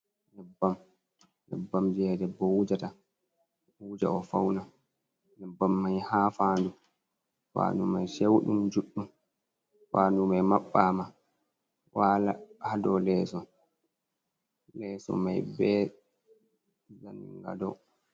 Nyebbam je debbo wujata, wuja o fauna nyebbam mai ha faadu, faadu mai sheuɗum juɗɗum faadu mai mabbama waala haa do leeso mai be zaningado.